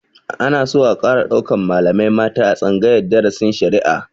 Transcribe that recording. Ana so a ƙara ɗaukan malamai mata a tsangayar darasin shari'a